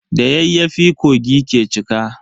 Da yayyafi kogi ke cika.